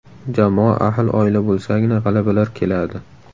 Jamoa ahil oila bo‘lsagina g‘alabalar keladi.